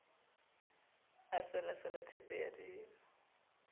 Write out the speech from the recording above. a selasela theepe ya dimo